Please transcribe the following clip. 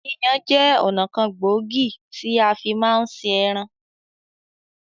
Yíyan jẹ́ ọ̀nà kan gbòógì tí a fi máa ń ṣe ẹran